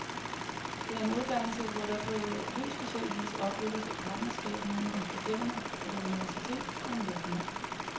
Det er en uddannelse, hvor der på helt speciel vis opbygges et partnerskab mellem den studerende, et universitet og en virksomhed.